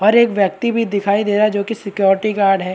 और एक व्यक्ति भी दिखाई दे रहा है जोकि सिक्योरिटी गार्ड हैं।